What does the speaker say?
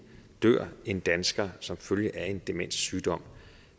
dør en dansker som følge af en demenssygdom